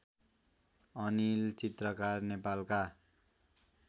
अनिल चित्रकार नेपालका